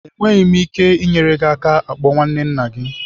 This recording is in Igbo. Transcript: Enweghị m ike inyere gị aka ịkpọ nwanne nna gị.